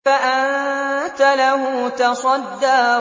فَأَنتَ لَهُ تَصَدَّىٰ